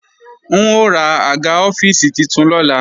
N ó ra àga ọ́fíìsì titun lọ́la